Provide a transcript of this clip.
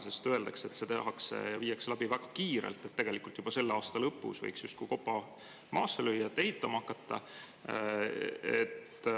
Sest öeldakse, et seda kõike tehakse väga kiirelt: juba selle aasta lõpus võiks justkui kopa maasse lüüa ja ehitama hakata.